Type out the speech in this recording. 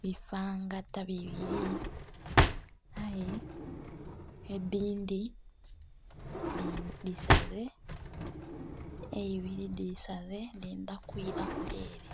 bifangata bibiri aye edindhi dhisaze eibiri dhisaze dhendha kwira kule ere.